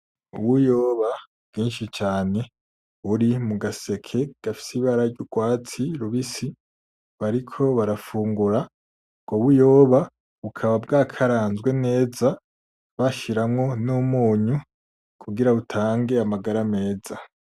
Ubuyoba bwinshi cane buri mugaseke gafise ibara ryurwatsi rubisi bariko barafungura ubwo buyoba bukaba bwakaranzwe neza bashiramo numunyu kugira butange amagara meza.